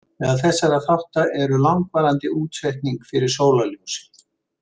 Meðal þessara þátta eru langvarandi útsetning fyrir sólarljósi.